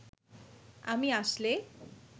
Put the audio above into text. আমি আসলে